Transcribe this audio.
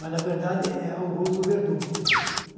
Mas, na verdade, é Auguste o Verdugo.